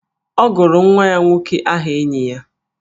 Ọ gụrụ nwa ya nwoke aha enyi ya